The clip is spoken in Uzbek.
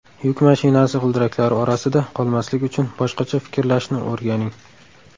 Yuk mashinasi g‘ildiraklari orasida qolmaslik uchun boshqacha fikrlashni o‘rganing.